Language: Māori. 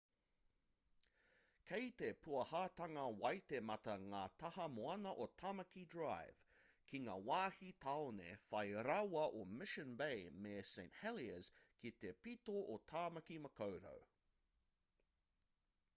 kei te pūahatanga waitemata ngā taha moana o tamaki drive ki ngā wāhi tāone whai rawa o mission bay me st heliers ki te pito o tāmaki makaurau